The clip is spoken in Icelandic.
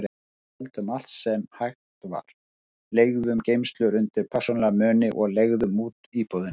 Við seldum allt sem hægt var, leigðum geymslu undir persónulega muni og leigðum út íbúðina.